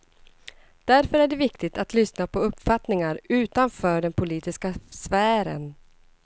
Därför är det viktigt att lyssna på uppfattningar utanför den politiska sfären.